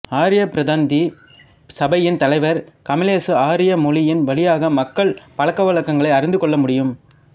ஆரிய பிரதிந்தி சபையின் தலைவர் கமலேசு ஆரியா மொழியின் வழியாகவே மக்கள் பழக்கவழக்கங்களை அறிந்துகொள்ள முடியும்